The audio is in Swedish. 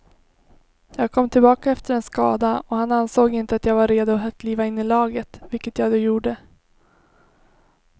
Jag kom tillbaka efter en skada och han ansåg inte att jag var redo att kliva in i laget, vilket jag då gjorde.